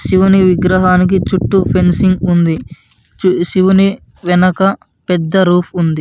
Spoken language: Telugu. శివుని విగ్రహానికి చుట్టూ ఫెన్సింగ్ ఉంది శివుని వెనక పెద్ద రూఫ్ ఉంది.